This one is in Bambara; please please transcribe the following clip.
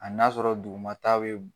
Hali n'a sɔrɔ duguma ta be